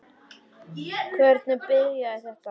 Hvernig byrjaði þetta?